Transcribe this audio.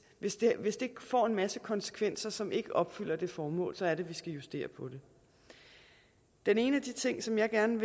hvis det hvis det får en masse konsekvenser som ikke opfylder det formål er det at vi skal justere på det den ene af de ting som jeg gerne